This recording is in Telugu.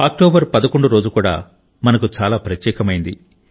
అక్టోబర్ 11 రోజు కూడా మనకు చాలా ప్రత్యేకమైనది